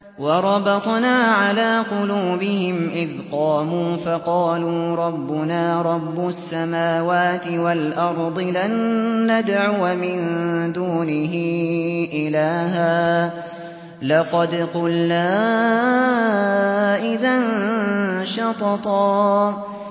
وَرَبَطْنَا عَلَىٰ قُلُوبِهِمْ إِذْ قَامُوا فَقَالُوا رَبُّنَا رَبُّ السَّمَاوَاتِ وَالْأَرْضِ لَن نَّدْعُوَ مِن دُونِهِ إِلَٰهًا ۖ لَّقَدْ قُلْنَا إِذًا شَطَطًا